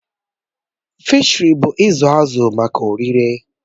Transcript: Fịshiri bụ izu azụ maka oririe